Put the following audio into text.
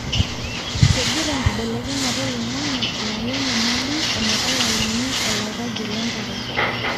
kengira enkibelekenyata oloingange ayau enyamali ometalayuni olairagie lenkare.